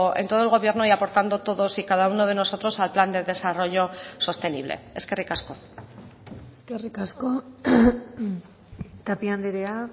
en todo el gobierno y aportando todos y cada uno de nosotros al plan de desarrollo sostenible eskerrik asko eskerrik asko tapia andrea